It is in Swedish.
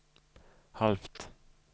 halvt